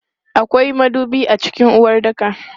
Akwai madubi a cikin uwaɗɗaka.